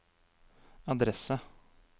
adresse